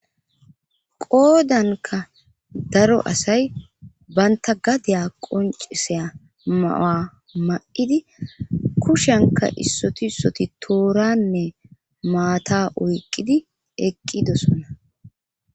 Qoodanka daro asay banta gadiya qonciseya mawa ma'idi kushanka issoti ssoti tooranne maata oyqqidi eqqidosona.